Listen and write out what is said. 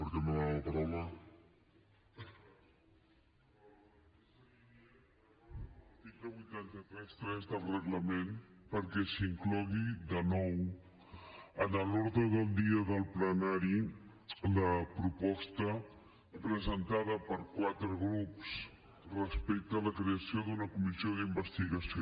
l’article vuit cents i trenta tres del reglament perquè s’inclogui de nou en l’ordre del dia del plenari la proposta presentada per quatre grups respecte a la creació d’una comissió d’investigació